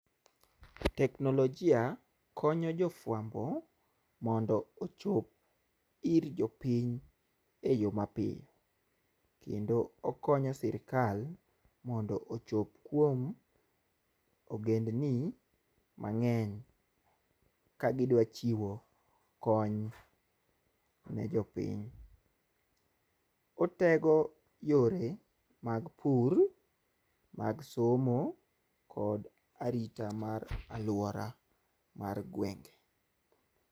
Teknolojia konyo jofwambo mondo ochop ir jopiny e yo mapiyo, kendo okonyo sirikal mondo ochop kuom ogendini mang'eny ka gidwa chiwo kony ne jopiny. Otego yore mag pur , mag somo kod arita mar aluora mar gwenge.